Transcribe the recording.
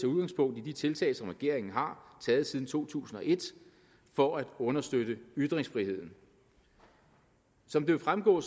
udgangspunkt i de tiltag som regeringen har taget siden to tusind og et for at understøtte ytringsfriheden som det vil fremgå